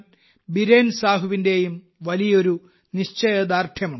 ബിരേൻ സാഹുവിന്റെയും വലിയൊരു നിശ്ചയദാർഢ്യമുണ്ട്